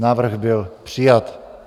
Návrh byl přijat.